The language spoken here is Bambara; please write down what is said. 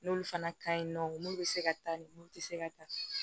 N'olu fana ka ɲi nɔ mun bɛ se ka taa nin mun tɛ se ka taa